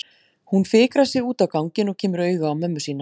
Hún fikrar sig út á ganginn og kemur auga á mömmu sína.